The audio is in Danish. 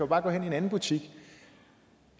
bare gå hen i en anden butik